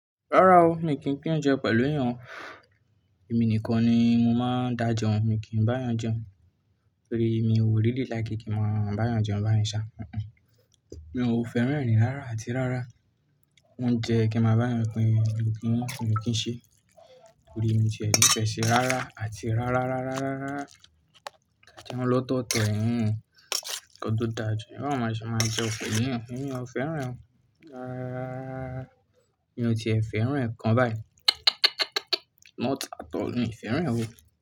Rárá o, mi kì í pín oúnjẹ pẹ̀lú èèyàn, èmi nìkan ni mo máa ń dá jẹun, mi kì í bá yàn jẹun, torí mi ò rí rí làáké kí n máa bá yàn jẹun báyìí sá, mi ò fẹ́ràn ẹ̀rín rárá àti rárá, óuńjẹ kí n máa bá yàn pín, èmi kì í ṣe, torí èmi tiẹ fẹsẹ̀ rárá àti rárá rárá rárá rárá, tàbí ẹ lọ tọ tẹ̀ yín kọdó dá jẹun, ẹ máa máa jẹ ọ̀fẹ́ yín, èmi ò fẹ́ràn o, rárá, mi ò tiẹ̀ fẹ́ràn ẹ̀ kan báyìí, mo ta tọ̀ ni ìfẹ́ rẹ̀ ò.